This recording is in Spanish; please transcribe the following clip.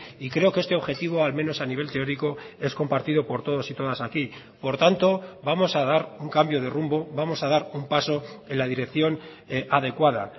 y creo que este objetivo al menos a nivel teórico es compartido por todos y todas aquí por tanto vamos a dar un cambio de rumbo vamos a dar un paso en la dirección adecuada